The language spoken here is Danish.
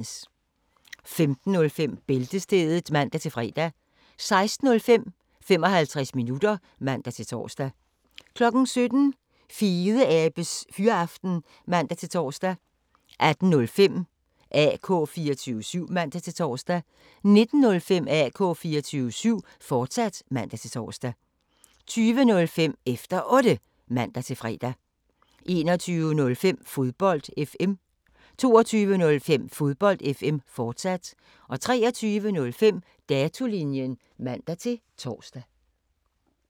15:05: Bæltestedet (man-fre) 16:05: 55 minutter (man-tor) 17:05: Fedeabes Fyraften (man-tor) 18:05: AK 24syv (man-tor) 19:05: AK 24syv, fortsat (man-tor) 20:05: Efter Otte (man-fre) 21:05: Fodbold FM 22:05: Fodbold FM, fortsat 23:05: Datolinjen (man-tor)